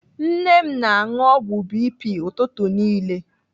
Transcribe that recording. Nne m na-anụ ọgwụ BP ụtụtụ niile.